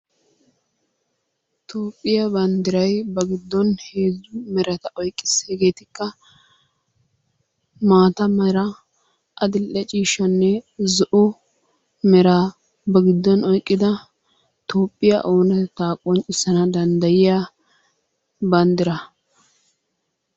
Toophphiya banddiray ba giddon heezzu merata oyqqiis, hegeetikka maata mera adil"e ciishshaanne zo"o meraa ba giddon oyqqida Toophphiya oonatetta qonccissanna danddayiyaa banddiraa.